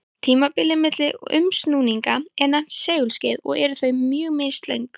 Tímabilið milli umsnúninga er nefnt segulskeið og eru þau mjög mislöng.